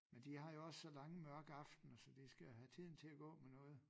Men de har jo også så lange mørke aftener så da skal have tiden til at gå med noget